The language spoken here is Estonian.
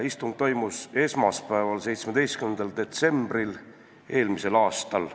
Istung toimus esmaspäeval, 17. detsembril eelmisel aastal.